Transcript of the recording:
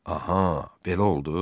Aha, belə oldu?